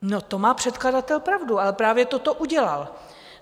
No, to má předkladatel pravdu, ale právě toto udělal.